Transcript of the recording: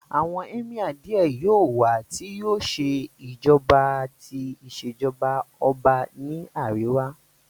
Àwọn Emir Díẹ̀ yóò wá tí yóò ṣe ìjọba ti Ìṣèjọ́ba ọba ní àríwá